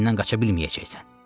əlimdən qaça bilməyəcəksən.